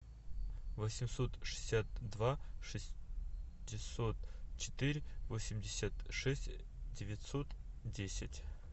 восемьсот шестьдесят два шестьсот четыре восемьдесят шесть девятьсот десять